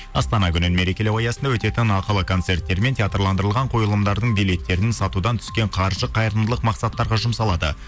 астана күнін мерекелеу аясында өтетін ақылы концерттер мен театрландырылған қойылымдардың билеттерін сатудан түскен қаржы қайырымдылық мақсаттарға жұмсалады